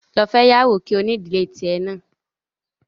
Lọ fẹ́yàwó kí o ní ìdílé tì ẹ náà